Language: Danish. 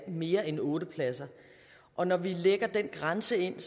mere end otte pladser og når vi lægger den grænse ind